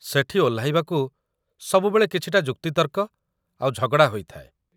ସେଠି ଓହ୍ଲାଇବାକୁ ସବୁବେଳେ କିଛିଟା ଯୁକ୍ତିତର୍କ ଆଉ ଝଗଡ଼ା ହୋଇଥାଏ ।